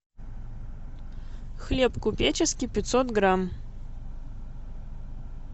хлеб купеческий пятьсот грамм